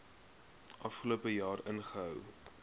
afgelope jaar gehou